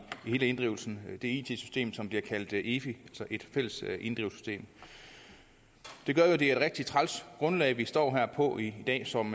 hele inddrivelsen det det system som bliver kaldt efi et fælles inddrivelsessystem det gør jo at det er et rigtig træls grundlag vi står her på i dag som